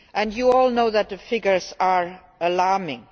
You all know that the figures are alarming.